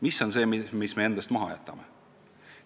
Mis on see, mille me endast maha jätame?